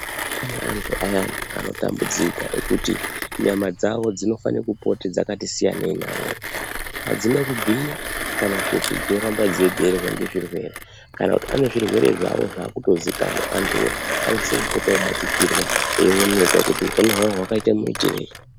Pane antu anotambudzika ngekuti nyama dzawo dzinofana kupota dzakati siyanei adzina kugwinya kana kuti dzoramba dzeiberwa nezvirwere pane zvirwere zvayo zvakutozikanwa antu anosisa kupota eibatikirwa eionekwa kuti hupenyu hwavo hwakaita maitirwei.